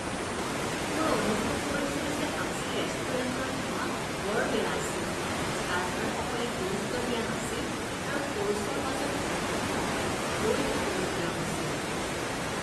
মই অনুভৱ কৰিছিলো যে আজি ৰেষ্টুৰেণ্টৰ সেৱা বৰ বেয়া আছিল। চাৰ্ভাৰসকলে গুৰুত্ব দিয়া নাছিল আৰু কৰ্ছৰ মাজত বহুত সময় ৰৈ থাকিবলগীয়া হৈছিল।